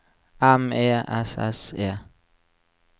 M E S S E